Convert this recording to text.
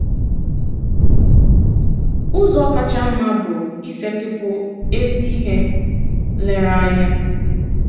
Ụ̀zọ kacha mma bụ isetị̀pụ ezi ihe nlèrèanya.